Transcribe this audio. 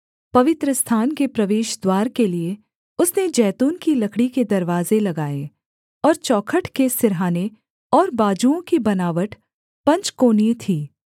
पवित्रस्थान के प्रवेशद्वार के लिये उसने जैतून की लकड़ी के दरवाजे लगाए और चौखट के सिरहाने और बाजुओं की बनावट पंचकोणीय थी